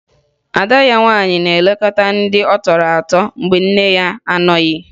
Ada ya nwaanyị na-elekọta ndị ọ tọrọ atọ mgbe nne ya na-anọghị